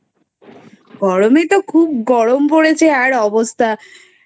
গরমে তো খুব গরম পড়েছে আর অবস্থা